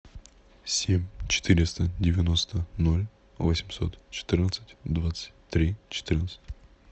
семь четыреста девяносто ноль восемьсот четырнадцать двадцать три четырнадцать